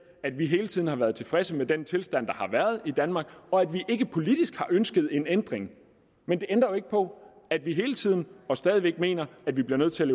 at vi hele tiden har været tilfredse med den tilstand der har været i danmark og at vi ikke politisk har ønsket en ændring men det ændrer jo ikke på at vi hele tiden og stadig væk mener at vi bliver nødt til